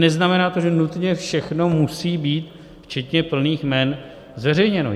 Neznamená to, že nutně všechno musí být včetně plných jmen zveřejněno.